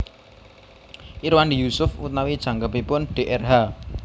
Irwandi Yusuf utawi jangkepipun drh